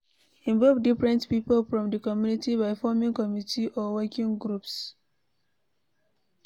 Involve different pipo from di community by forming committe or working groups